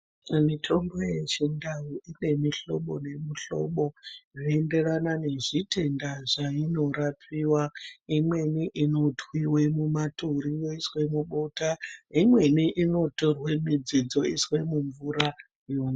Mitombo yechindau inemuhlobo nemuhlobo, zveyenderana nezvitenda zvayinorapiwa. Imweni inothwiwe mumaturi yoyiswe mubota, imweni inotorwe midzi dzoyiswe mumvura mo.